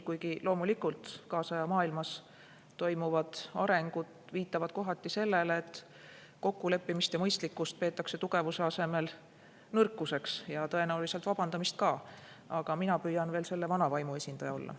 Kuigi jah, kaasaja maailmas toimuvad arengud viitavad kohati sellele, et kokkuleppimist ja mõistlikkust peetakse tugevuse asemel nõrkuseks, ja tõenäoliselt vabandamist ka, aga mina püüan veel selle vana võimu esindaja olla.